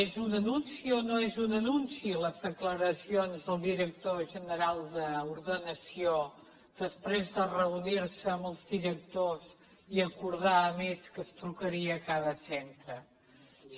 és un anunci o no és un anunci les declaracions del director general d’ordenació després de reunir se amb els directors i acordar a més que es trucaria a cada centre